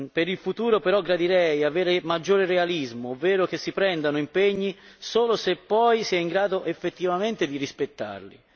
Per il futuro, però, gradirei un maggiore realismo, ovvero che si prendano impegni solo se poi si è in grado effettivamente di rispettarli.